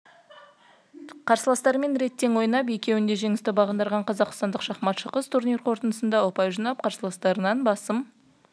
қарсыластарымен рет тең ойнап еуінде жеңісті бағындырған қазақстандық шахматшы қыз турнир қорытындысында ұпай жинап қарсыластарынан басым